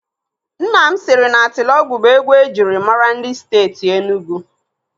Nna m siri na Atilọgwụ bụ egwu ejiri maara ndị Steeti Enugu.